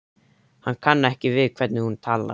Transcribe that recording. Hann kann ekki við hvernig hún talar.